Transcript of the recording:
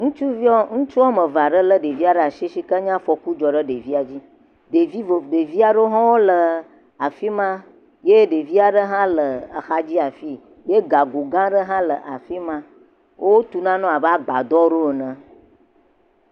Ŋutsuviwo, ŋutsu woame ve aɖe lé ɖevia ɖaa shi, shi ke nye afɔku dzɔ ɖe ɖevia dzi. Ɖevi Ŋegbevi aɖewo hã wole afi ma ye ɖeka aɖe hã le axadzi afii. Wo gago gãã aɖe hã le afi ma. Wotu naɖewo abe agbadɔ ene.